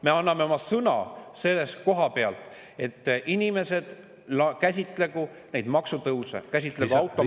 Me anname oma sõna selle koha pealt, et inimesed käsitlegu neid maksutõuse, käsitlegu automaksu …